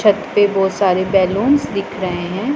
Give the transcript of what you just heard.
छत पे बहुत सारे बैलूंस दिख रहें हैं।